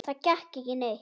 Það gekk ekki neitt.